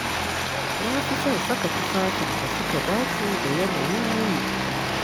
Na fi son saka tufafin da suka dace da yanayin yini